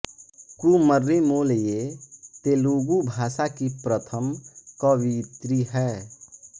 कुम्मरि मोल्ल ये तेलुगु भाषा की प्रथम कवयित्री हैं